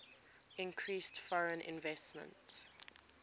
increased foreign investment